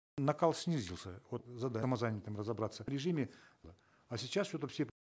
накал снизился вот самозанятым разобраться режиме а сейчас все таки все